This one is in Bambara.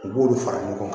U b'olu fara ɲɔgɔn kan